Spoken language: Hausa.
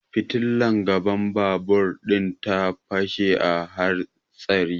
Fitilar gaban babur din ta fashe a hatsari